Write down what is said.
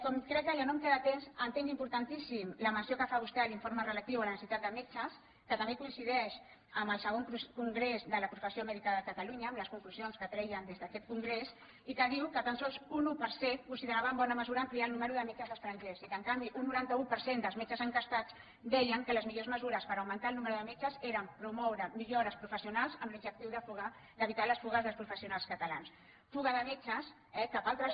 com que crec que ja no em queda temps entenc impor·tantíssima la menció que fa vostè a l’informe relatiu a la necessitat de metges que també coincideix amb el ii congrés de la professió mèdica de catalunya amb les conclusions que treien des d’aquest congrés i que diu que tan sols un un per cent consideraven bona me·sura ampliar el nombre de metges estrangers i que en canvi un noranta un per cent dels metges enquestats deien que les millors mesures per augmentar el nombre de met·ges eren promoure millores professionals amb l’objectiu d’evitar les fugues dels professionals catalans fuga de metges eh cap a altres